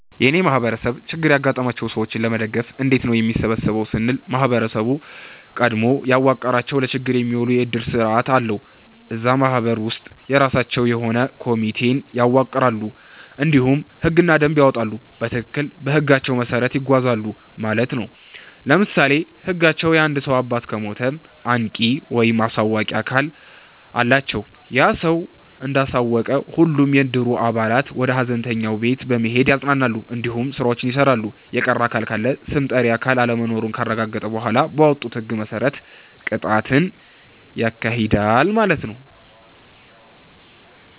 የእኔ ማህበረሰብ ችግር ያጋጠማቸውን ሰዎች ለመደገፍ እንዴት ነው የሚሰበሰበው ስንል ማህበረሰቡ ቀድሞ ያዋቀረዉ ለችግር የሚዉል የዕድር ስርዓት አለዉ። እዛ ማህበር ውስጥ የራሳቸዉ የሆነ ኮሚቴን ያዋቅራሉ እንዲሁም ህግና ደንብን ያወጣሉ በትክክል በህጋቸዉ መሰረት ይጓዛሉ ማለት ነዉ። ለምሳሌ ህጋቸዉ የአንድ ሰዉ አባት ከሞተ አንቂ(አሳዋቂ)አካል አላቸዉ ያ ሰዉ እንዳሳወቀ ሁሉም የዕድሩ አባላት ወደ ሀዘንተኛዉ ቤት በመሄድ ያፅናናል እንዲሁም ስራዎችን ይሰራል። የቀረ አካል ካለም ስም ጠሪ አካል አለመኖሩን ካረጋገጠ በኋላ ባወጡት ህግ መሰረት ቅጣትን ያካሂዳል ማለት ነዉ።